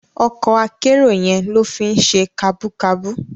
Òkò àkèéró yèn ló fi n sé kàbúkàbú